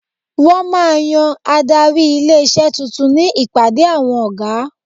Wọ́n máa yan adarí ilé-iṣé tuntun ní ìpàdé awọn ọ̀gá.